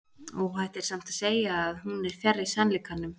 óhætt er samt að segja að hún er fjarri sannleikanum